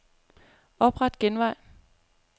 Opret genvej.